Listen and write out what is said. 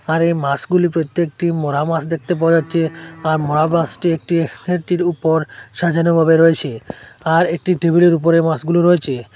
আর এই মাসগুলি প্রত্যেকটি মরা মাস দেখতে পাওয়া যাচ্ছে আর মরা মাসটি একটি একটির উপর সাজানো ভাবে রয়েছে আর একটি টেবিলের উপরে মাসগুলো রয়েছে।